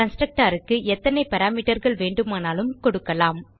constructorக்கு எத்தனை Parameterகள் வேண்டுமானாலும் கொடுக்கலாம்